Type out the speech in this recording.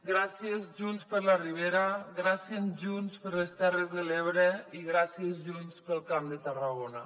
gràcies junts per la ribera gràcies junts per les terres de l’ebre i gràcies junts pel camp de tarragona